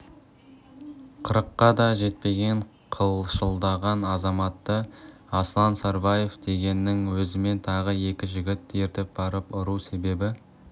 қырыққа да жетпеген қылшылдаған азаматты аслан сарбаев дегеннің өзімен тағы екі жігітті ертіп барып ұру себебі